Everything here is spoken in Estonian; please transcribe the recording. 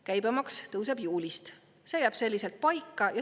Käibemaks tõuseb juulist ja see jääb selliselt paika.